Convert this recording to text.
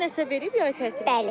Müəllimə nəsə verib yay tətilində?